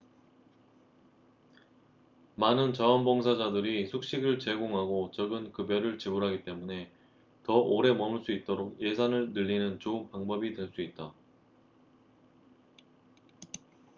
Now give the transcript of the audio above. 많은 자원봉사자들이 숙식을 제공하고 적은 급여를 지불하기 때문에 더 오래 머물 수 있도록 예산을 늘리는 좋은 방법이 될 수 있다